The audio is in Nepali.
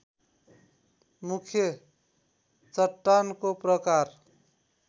मुख्य चट्टानको प्रकार